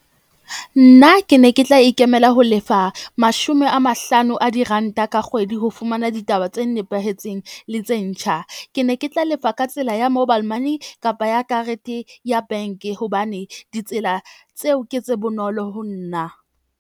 Nna ke ne ke tla ikemela ho lefa mashome a mahlano a diranta ka kgwedi. Ho fumana ditaba tse nepahetseng le tse ntjha. Ke ne ke tla lefa ka tsela ya mobile money kapa ya karete ya bank-e hobane ditsela tseo ke tse bonolo ho nna.